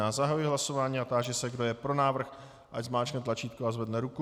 Já zahajuji hlasování a táži se, kdo je pro návrh, ať zmáčkne tlačítko a zvedne ruku.